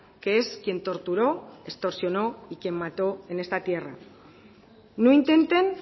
que es quien torturó extorsionó y quien mató en esta tierra no intenten